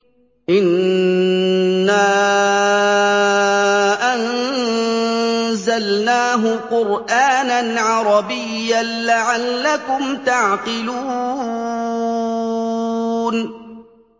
إِنَّا أَنزَلْنَاهُ قُرْآنًا عَرَبِيًّا لَّعَلَّكُمْ تَعْقِلُونَ